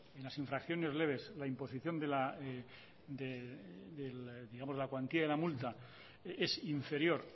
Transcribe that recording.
las infracciones leves la imposición de la cuantía de la multa es inferior